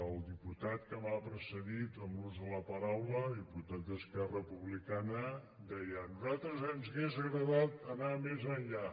el diputat que m’ha precedit en l’ús de la paraula el diputat d’esquerra republicana deia a nosaltres ens hauria agradat anar més enllà